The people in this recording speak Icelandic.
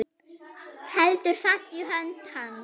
Heldur fast í hönd hans.